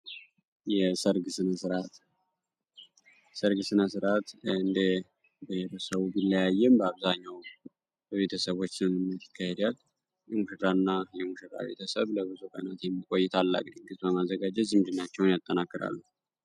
የሰርግ ስነስርአት የሰርግ ስነስርአት እንደ ሰዉ ቢለያይም አብዛኘዉን በቤተሰቦች ስምምነት ይካሄዳል። የሙሽራና የሙሽራ ቤተሰብ ለብዙ ቀናት የሚቆይ ታላቅ ድግስ በማዘጋጀት ዝምድናን ያጠናክራሉ።